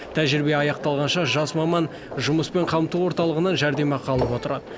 тәжірибе аяқталғанша жас маман жұмыспен қамту орталығынан жәрдемақы алып отырады